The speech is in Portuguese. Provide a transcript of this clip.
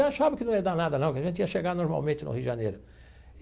Eu achava que não ia dar nada não, que a gente ia chegar normalmente no Rio de Janeiro.